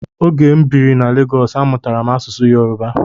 Ógè m bírí na Legọs, amụtara m asụsụ Yoruba.